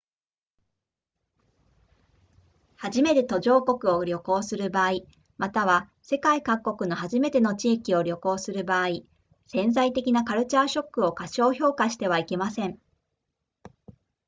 初めて途上国を旅行する場合または世界各国の初めての地域を旅行する場合潜在的なカルチャーショックを過小評価してはいけません